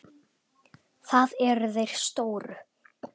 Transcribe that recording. Það eru þeir stóru.